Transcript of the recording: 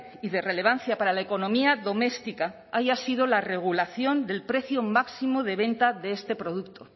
y de relevancia para la economía doméstica haya sido la regulación del precio máximo de venta de este producto